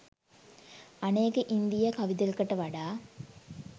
අනෙක ඉන්දීය කවි දෙකට වඩා